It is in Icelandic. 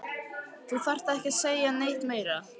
Þú þarft ekki að segja neitt meira